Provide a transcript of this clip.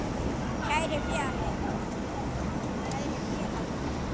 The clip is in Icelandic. Kæri félagi.